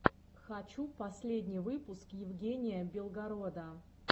хочу последний выпуск евгения белгорода